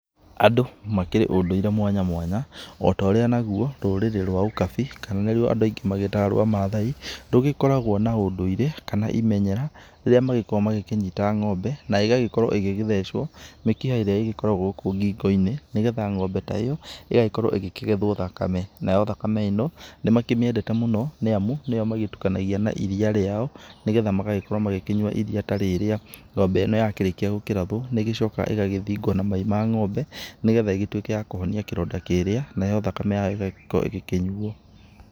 Andũ makĩrĩ ũndũire mwanyamwanya otorĩa nagũo rũrĩĩ rwa ũkabi, kana nĩ rũo andũ aingĩ magĩtaga rwa mathaai, rũgĩkoragwo na ũndũire kana imenyera rĩrĩa magĩkoragwo magĩkĩnyita ngombe, kana ĩgagĩkorwo ĩgĩgĩthecwo mĩkiha ĩrĩa ĩgĩkoragwo gũkũ ngĩngo-inĩ nĩgetha ngombe ta ĩyo ĩgagĩkorwo ĩgĩkĩgethwo thakame. Nayo thakame ĩno, nĩ makĩmĩendete mũno nĩ amu nĩyo magĩtukanagia na iria rĩao, nĩgetha magagĩkorwo magĩkĩnyua iria ta rĩrĩa. Ngombe ĩno ya kĩrĩkĩa kũrathwo, nĩ ĩgĩcoka ĩgagĩthingwo na mai ma ngombe nĩgetha ĩgĩtũĩke ya kũhonia kĩronda kĩrĩa. Nayo thakame yayo ĩgagĩkorwo ĩgĩkĩnyuo.